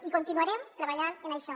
i continuarem treballant en això